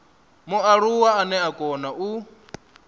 mualuwa ane a kona u